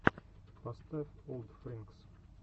поставь олдфринкс